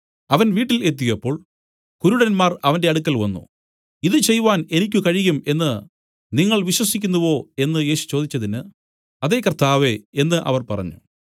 അവൻ വീട്ടിൽ എത്തിയപ്പോൾ കുരുടന്മാർ അവന്റെ അടുക്കൽ വന്നു ഇതു ചെയ്‌വാൻ എനിക്ക് കഴിയും എന്നു നിങ്ങൾ വിശ്വസിക്കുന്നുവോ എന്നു യേശു ചോദിച്ചതിന് അതെ കർത്താവേ എന്നു അവർ പറഞ്ഞു